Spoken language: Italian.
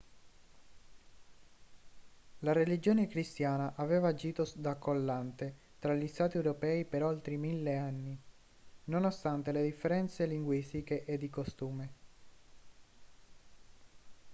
la religione cristiana aveva agito da collante tra gli stati europei per oltre mille anni nonostante le differenze linguistiche e di costume